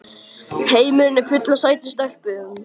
Heimurinn er fullur af sætum stelpum!